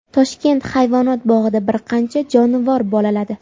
Toshkent hayvonot bog‘ida bir qancha jonivor bolaladi.